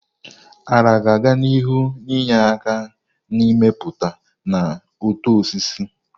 Nla ga-aga n'ihu na-enye aka n'ịmụpụta na uto osisi.